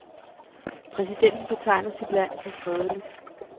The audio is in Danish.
Præsidenten betegner sit land som fredeligt.